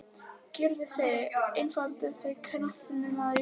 Gylfi Sig Efnilegasti knattspyrnumaður landsins?